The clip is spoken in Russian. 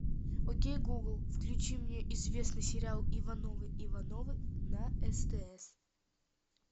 окей гугл включи мне известный сериал ивановы ивановы на стс